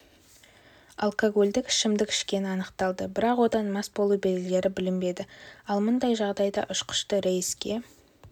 алькоголдік ішімдік ішкені анықталды бірақ одан мас болу белгілері білінбеді ал мұндай жағдайда ұшқышты рейске